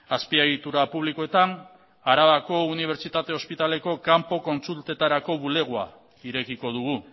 azpiegitura publikoetan arabako unibertsitate ospitaleko kanpo kontsultetarako bulegoa irekiko dugu